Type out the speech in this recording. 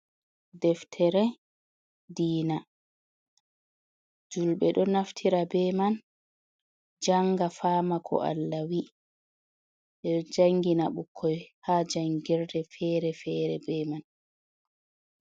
Deftere diina, julɓe ɗo naftira be man, jannga faama ko Allah wii. Ɓe ɗo janngina ɓukkoy, haa janngirde feere feere be man.